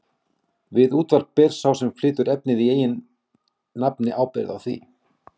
Við útvarp ber sá sem flytur efni í eigin nafni ábyrgð á því.